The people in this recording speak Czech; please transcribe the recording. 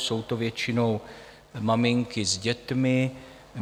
Jsou to většinou maminky s dětmi.